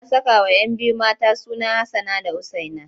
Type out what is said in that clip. Ana sakawa 'yan biyu mata suna Hassana da Usaina.